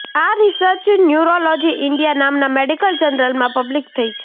આ research Neurology India નામના medical જનરલમાં પબ્લિસ થઈ છે